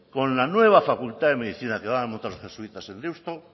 con la nueva facultad de medicina que van a montar los jesuitas en deusto